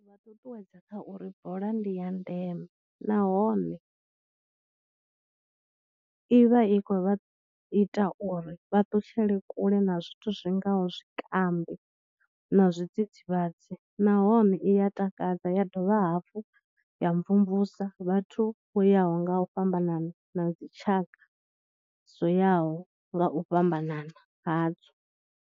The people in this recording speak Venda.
Vha ṱuṱuwedza kha uri bola ndi ya ndeme nahone i vha i khou vha ita uri vha ṱutshele kule na zwithu zwi ngaho zwikambi na zwidzidzivhadzi nahone i ya takadza ya dovha hafhu ya mvumvusa vhathu vho yaho nga u fhambanana na dzi tshaka, dzo yaho nga u fhambanana hadzo.